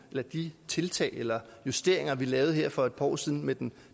eller de tiltag eller justeringer vi lavede her for et par år siden med den